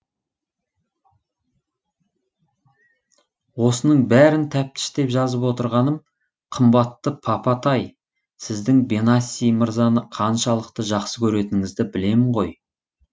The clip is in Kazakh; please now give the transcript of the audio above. осының бәрін тәптіштеп жазып отырғаным қымбатты папа тай сіздің бенаси мырзаны қаншалықты жақсы көретініңізді білемін ғой